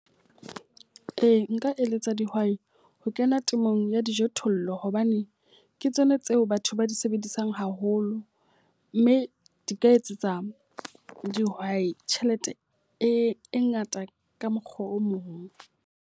Ee, nka eletsa dihwai ho kena temong ya dijothollo hobane ke tsona tseo batho ba di sebedisang haholo. Mme di ka etsetsa dihwai tjhelete e ngata ka mokgwa o mong.